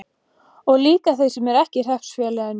Og líka þeir sem ekki eru í hreppsfélaginu?